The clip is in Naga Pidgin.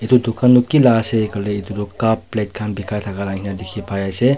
Etu dukan tuh kila ase koile etu tuh cup plate khan bekai thaka la ena dekhi pai ase.